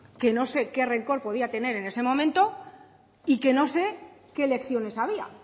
que no sé qué rencor que podía tener en ese momento y que no sé qué elecciones había